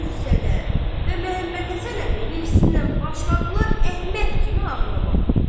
İzzət qüssədən və Məmmədhəsən əmi hirsindən başladılar Əhməd kimi ağlamağa.